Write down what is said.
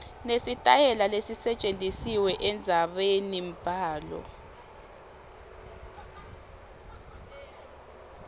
nesitayela lesisetjentisiwe endzabenimbhalo